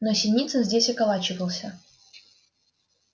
но синицын здесь околачивался